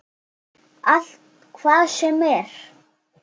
Allt, hvað sem er.